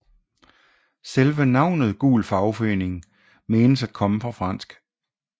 Selve navnet gul fagforening menes at komme fra fransk